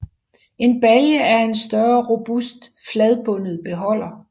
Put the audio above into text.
En balje er en større robust fladbundet beholder